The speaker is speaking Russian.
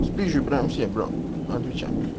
спизжу прям все бро отвечаю